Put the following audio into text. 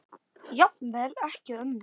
Jafnvel ekki ömmur.